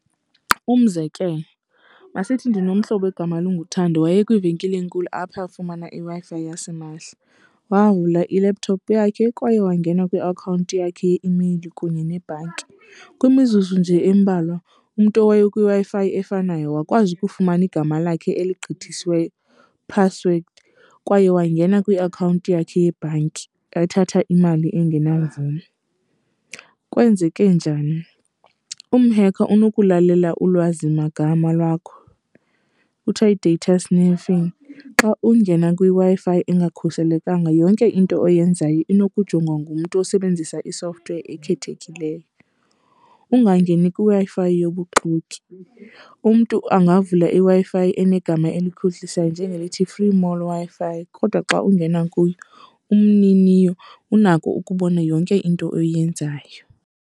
Umzekelo, masithi ndinomhlobo egama linguThando waye kwivenkile enkulu apha afumana iWi-Fi yasimahla. Wavula i-laptop yakhe kwaye wangena kwiakhawunti yakhe yeimeyili kunye nebhanki. Kwimizuzu nje embalwa umntu owaye kwiWi-Fi efanayo wakwazi ukufumana igama lakhe eligqithisiweyo, password kwaye wangena kwiakhawunti yakhe yebhanki ethatha imali engenamvume. Kwenzeke njani? Umhekha unokulalela ulwazimagama lwakho, kuthiwa yi-data sniffing. Xa ungena kwiWi-Fi engakhuselekanga yonke into oyenzayo inokujongwa ngumntu osebenzisa i-software ekhethekileyo. Ungangeni kwiWi-Fi yobuxoki, umntu angavula iWi-Fi enegama elikhohlisayo njengelithi-Free Mall Wi-Fi kodwa xa ungena kuyo, umniniyo unako ukubona yonke into oyenzayo.